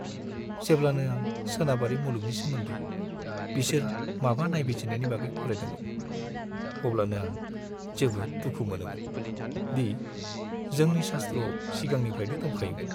जेब्लानो आं सोनाबारि मुलुगनि सोमोन्दै बिसोर माबा नायबिजिरनायनि बागै फरायदोंमोन अब्लानो आं जोबोद दुखु मोनोमोन दि जोंनि शास्त्रआव सिगांनिफ्राइनो दंखायोमोन।